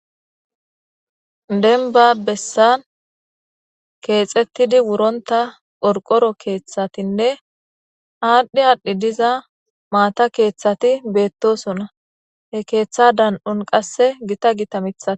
Denba bessan keexettidi wuronta qorqoro keeththatinne aadhdhi aadhdhi diza maata keeththati beettosona, he keeththa dan7un qasse gita gita mithaa.